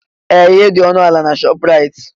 Ee! Ihe dị ọnụ ala na Shọpraịt.